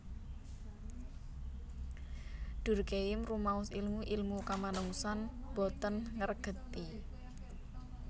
Durkheim rumaos ilmu ilmu kamanungsan boten ngregeti